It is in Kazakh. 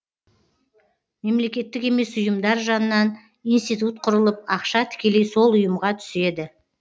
мемлекеттік емес ұйымдар жанынан институт құрылып ақша тікелей сол ұйымға түседі